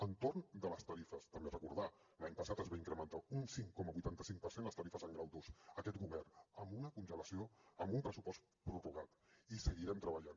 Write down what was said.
entorn de les tarifes també recordar l’any passat es van incrementar un cinc coma vuitanta cinc per cent les tarifes en grau ii aquest govern amb un pressupost prorrogat i hi seguirem treballant